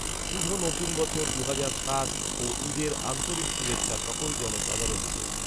শুভ নতুন বছর দুহাজার সাত ও ঈদের আন্তরিক শুভেচ্ছা সকল জনসাধারণকে।